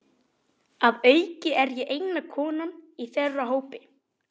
Að auki er ég eina konan í þeirra hópi.